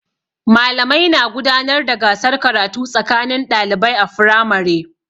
Malamai na gudanar da gasar karatu tsakanin ɗalibai a firamare.